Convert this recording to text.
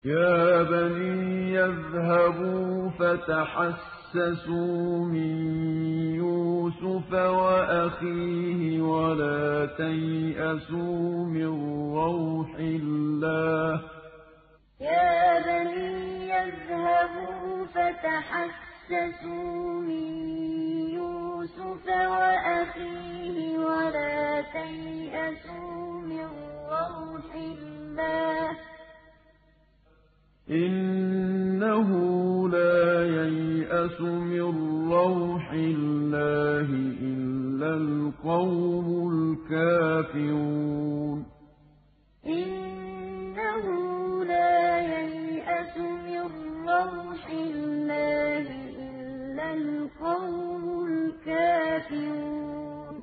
يَا بَنِيَّ اذْهَبُوا فَتَحَسَّسُوا مِن يُوسُفَ وَأَخِيهِ وَلَا تَيْأَسُوا مِن رَّوْحِ اللَّهِ ۖ إِنَّهُ لَا يَيْأَسُ مِن رَّوْحِ اللَّهِ إِلَّا الْقَوْمُ الْكَافِرُونَ يَا بَنِيَّ اذْهَبُوا فَتَحَسَّسُوا مِن يُوسُفَ وَأَخِيهِ وَلَا تَيْأَسُوا مِن رَّوْحِ اللَّهِ ۖ إِنَّهُ لَا يَيْأَسُ مِن رَّوْحِ اللَّهِ إِلَّا الْقَوْمُ الْكَافِرُونَ